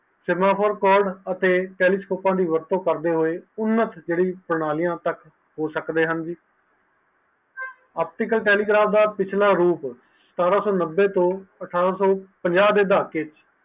telescope ਦੀ ਵਰਤੋਂ ਕਰਦੇ ਹੋਏ optical telegraph ਦਾ ਰੂਪ ਸਤਾਰਸੋ ਨੱਬੇ ਤੋਂ ਅਠਾਰਾਸੋ ਪੰਜਾਂ